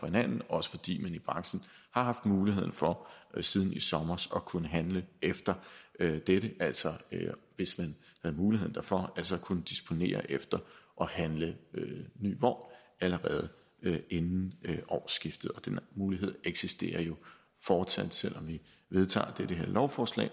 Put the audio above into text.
hinanden også fordi man i branchen har haft mulighed for siden i sommer at kunne handle efter dette altså hvis man havde muligheden derfor så at kunne disponere derefter og handle ny vogn allerede inden årsskiftet og denne mulighed eksisterer jo fortsat selv om vi vedtager dette lovforslag